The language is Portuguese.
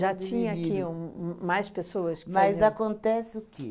tinha aqui um um mais pessoas que faziam... Mas acontece o quê?